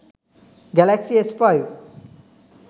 galaxy s5